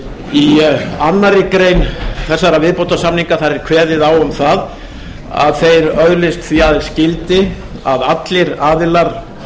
í annarri grein þessara viðbótarsamninga er kveðið á um að þeir öðlist því aðeins gildi að allir aðilar